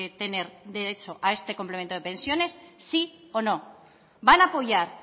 tener derecho a este complemento de pensiones sí o no van a apoyar